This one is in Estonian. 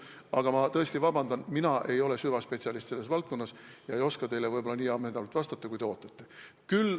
Aga ma tõesti palun vabandust, mina ei ole selle valdkonna süvaspetsialist ega oska teile võib-olla nii ammendavalt vastata, kui te ootate.